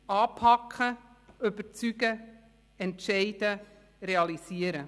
Anpacken, überzeugen, entscheiden, realisieren: